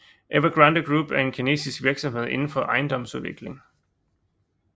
Evergrande Group er en kinesisk virksomhed inden for ejendomsudvikling